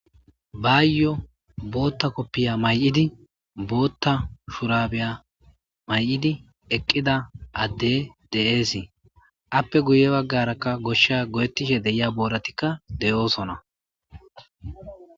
baayyo bootta koppiya may7idi bootta shurabiya may7idi eqqida adde de7eesii appe guye baggarakka goshsha go7ettishe deyia booratikka de7oosona